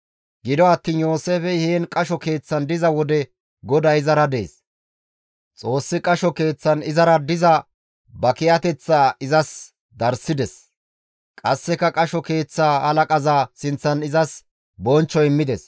Gido attiin Yooseefey heen qasho keeththan diza wode GODAY izara dees. Xoossi qasho keeththan izara diza ba kiyateth izas darssides. Qasseka qasho keeththa halaqaza sinththan izas bonchcho immides.